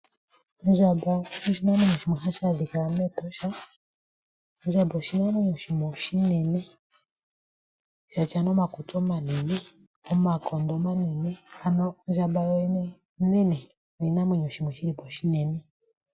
Ondjamba oyo oshinamwenyo shoka hashi adhika mEtosha National Park . ondjamba oyo oshinamwenyo shimwe oshinene, shina omakutsi omanene , omakondo omanene, ano ondjamba yoyene onene .